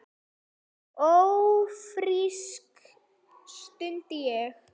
Ófrísk? stundi ég.